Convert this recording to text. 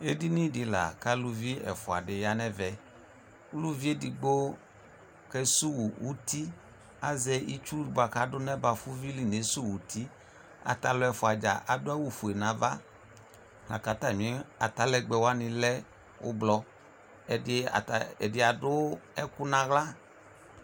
Edini dɩ la k'alʋvi ɛfʋa dɩ ya n'ɛvɛ Uluvi edigbo kesuwu uti, azɛ itsu bʋa k'adʋ n'ɛbfʋvi li neauw'uti Atalʋ ɛfuadzaa adʋ awu fue n'ava lakatamɩ atalɛgbɛ wanɩ lɛ ʋblɔ, ɛdɩ adʋ ɛkʋ n'aɣla